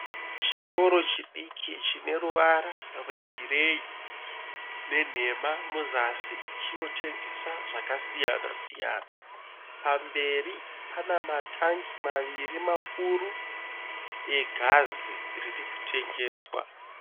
Chitoro chidiki chine ruvara rwegireyi ne nhema muzasi. Chiritengesa zvakasiyana siyana. Pamberi pana ma tangi maviri makuru egasi ririkutengeswa.